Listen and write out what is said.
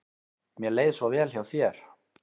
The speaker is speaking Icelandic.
Mér leið svo vel hjá þér.